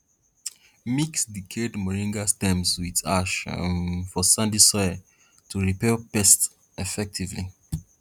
mix decayed moringa stems with ash um for sandy soil to repel pests effectively